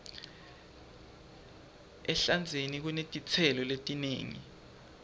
ehlandzeni kunetitselo letinengi